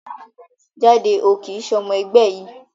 Jáde, o kìí ṣe ọmọ ẹgbẹ́ yìí